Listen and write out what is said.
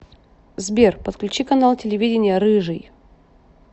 сбер подключи канал телевидения рыжий